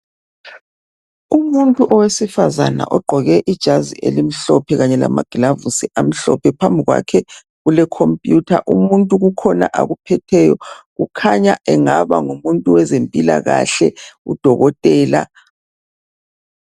Umuntu owesifazana ogqoke ijazi elimhlophe kanye lamagilavisi amhlophe. Phambi kwakhe kuke computer. Umuntu kukhona akuphetheyo kukhanya engaba ngumuntu wezempilakahle udokotela.